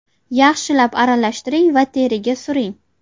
Yaxshilab aralashtiring va teriga suring.